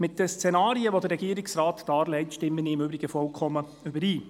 Mit den Szenarien, die der Regierungsrat darlegt, stimme ich im Übrigen vollkommen überein.